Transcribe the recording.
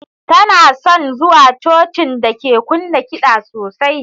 Tana son zuwa Cocin da ke kunna kiɗan sosai.